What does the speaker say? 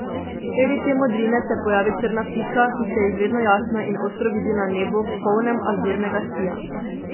Sredi te modrine se pojavi črna pika, ki se izredno jasno in ostro vidi na nebu, polnem azurnega sija.